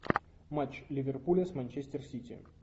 матч ливерпуля с манчестер сити